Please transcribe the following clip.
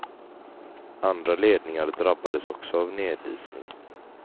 Andra ledningar drabbades också av nedisning.